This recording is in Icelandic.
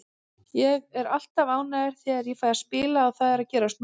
Ég er alltaf ánægður þegar ég fæ að spila og það er að gerast núna.